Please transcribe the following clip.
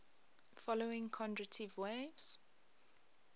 following kondratiev waves